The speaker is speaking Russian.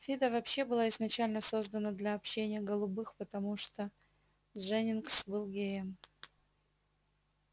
фидо вообще была изначально создана для общения голубых потому что дженнингс был геем